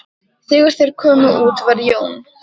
Þegar þeir komu út var Jón